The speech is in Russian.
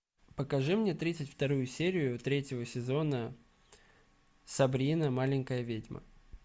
покажи мне тридцать вторую серию третьего сезона сабрина маленькая ведьма